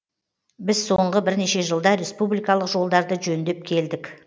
біз соңғы бірнеше жылда республикалық жолдарды жөндеп келдік